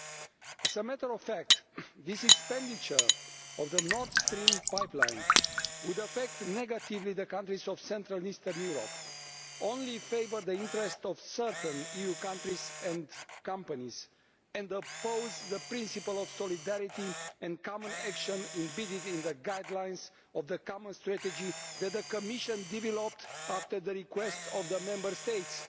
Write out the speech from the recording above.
As a matter of fact, this expenditure on the Nord Stream pipeline would negatively affect the countries of central and eastern Europe, only favour the interests of certain EU countries and companies, and oppose the principle of solidarity and common action embedded in the guidelines of the common strategy that the Commission developed at the request of the Member States